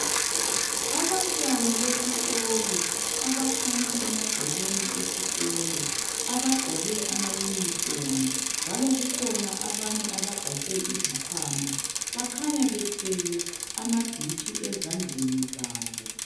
Abantwana besikolo abakhanya emagcekeni esikolo. Abagqoke amayunifomu njalo kukhona abanye abagaxe izikhwama bakhanya bethwele amadishi ezandleni zabo.